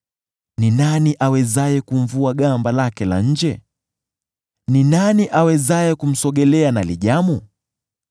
Ni nani awezaye kumvua gamba lake la nje? Ni nani awezaye kumsogelea na lijamu?